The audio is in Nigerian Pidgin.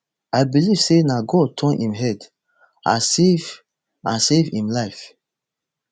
i believe say na god turn im head and save and save im life